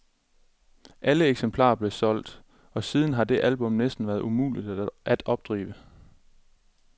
Alle eksemplarer blev solgt, og siden har det album næsten været umulig at opdrive.